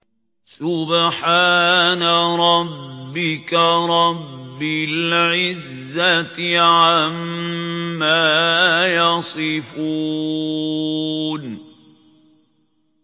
سُبْحَانَ رَبِّكَ رَبِّ الْعِزَّةِ عَمَّا يَصِفُونَ